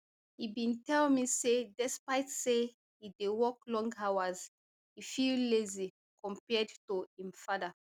e bin tell me say despite say e dey work long hours e feel lazy compared to im father